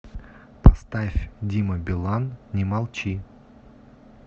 поставь дима билан не молчи